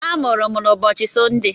A mụrụ m n'ụbọchị Sọnde